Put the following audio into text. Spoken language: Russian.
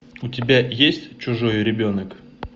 у тебя есть чужой ребенок